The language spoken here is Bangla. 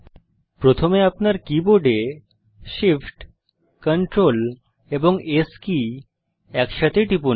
প্রথমে আপনার কীবোর্ডে Shift Ctrl এবং S কী একসাথে টিপুন